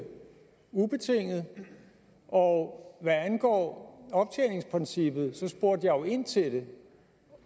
ubetinget og hvad angår optjeningsprincippet spurgte jeg jo ind til det